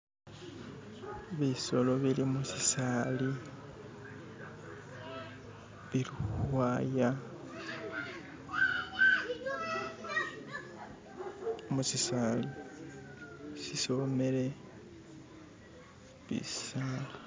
bisolo bili mushisaali bili huhwaya musisali sisomele bisaala